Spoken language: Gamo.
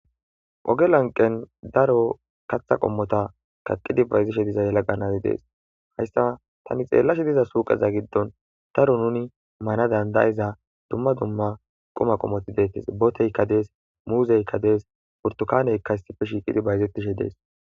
oge lanqen daro katha qommota kaqqidi bayzishe diza yalaqanazi dees hayssa tani xeellashe diza suuqeza giddon daro nuni maana dandayiza dumma dumma quma qommoti deettes boteykka dees muuzeykka dees purtukaaneyka isife shiiqidi bayzetishe dees